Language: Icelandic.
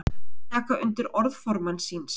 Taka undir orð formanns síns